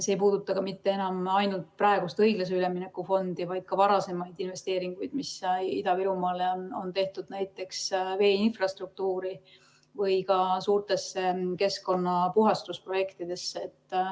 See ei puuduta ka mitte enam ainult praegust õiglase ülemineku fondi, vaid ka varasemaid investeeringuid, mis Ida-Virumaale on tehtud, näiteks veeinfrastruktuuri või suurtesse keskkonnapuhastusprojektidesse.